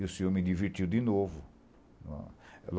E o senhor me divertiu de novo.